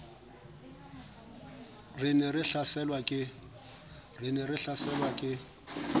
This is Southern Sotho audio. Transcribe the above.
re ne re hlaselwa ke